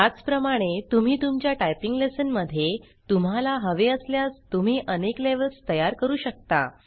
त्याचप्रमाणे तुम्ही तुमच्या टाइपिंग लेसन मध्ये तुम्हाला हवे असल्यास तुम्ही अनेक लेवेल्ज़ तयार करू शकता